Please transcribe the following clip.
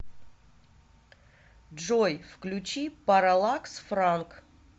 джой включи паралакс франк